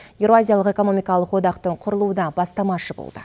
еуразиялық экономикалық одақтың құрылуына бастамашы болды